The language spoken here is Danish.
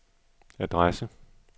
adresse